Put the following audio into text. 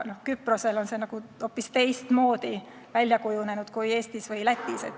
Küprosel on see hoopis teistmoodi välja kujunenud kui Eestis või Lätis.